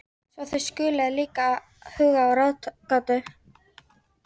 Svo þið skuluð líka huga að ráðgátu.